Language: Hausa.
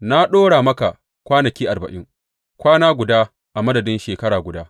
Na ɗora maka kwanaki arbain, kwana guda a madadin shekara guda.